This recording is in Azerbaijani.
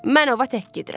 Mən ova tək gedirəm.